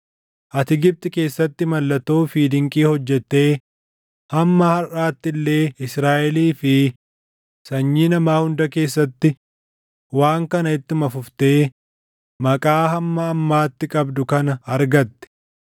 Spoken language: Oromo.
Ati Gibxi keessatti mallattoo fi dinqii hojjettee hamma harʼaatti illee Israaʼelii fi sanyii namaa hunda keessatti waan kana ittuma fuftee maqaa hamma ammaatti qabdu kana argatte.